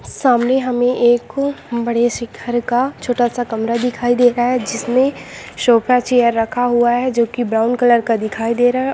सामने हमें एक बड़े से घर का छोटा-सा कमरा दिखाई दे रहा है जिसमें सोफा चेयर रखा हुआ है जो कि ब्राउन कलर का दिखाई दे रहा।